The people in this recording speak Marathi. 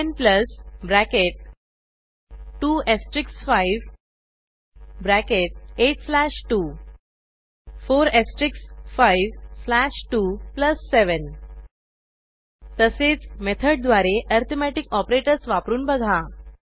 10 bracket 2 asterisk 5 bracket 8 slash 2 4 asterisk 5 slash 2 plus 7 तसेच मेथडद्वारे ऍरीथमेटिक ऑपरेटर्स वापरून बघा